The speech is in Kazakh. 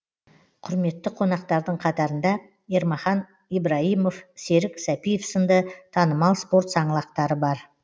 құрметті қонақтардың қатарында ермахан ибраимов серік сәпиев сынды танымал спорт саңлақтары бар